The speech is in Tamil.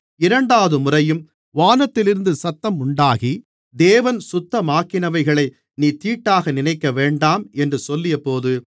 இரண்டாவதுமுறையும் வானத்திலிருந்து சத்தம் உண்டாகி தேவன் சுத்தமாக்கினவைகளை நீ தீட்டாக நினைக்கவேண்டாம் என்று சொல்லியது